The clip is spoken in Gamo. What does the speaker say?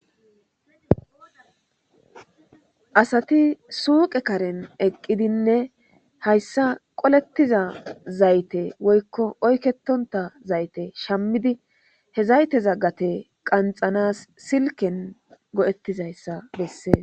asati suuqe karen eqqidinne hayssa qolettiza zayte woykko oykketonta zayte shammidi he zayte gate qanxanas silken go'ettizayssa bessee